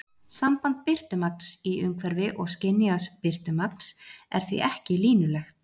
Samband birtumagns í umhverfi og skynjaðs birtumagns er því ekki línulegt.